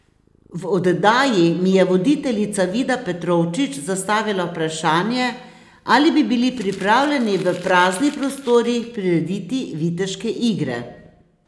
V oddaji mi je voditeljica Vida Petrovčič zastavila vprašanje, ali bi bili pripravljeni v praznih prostorih prirediti viteške igre.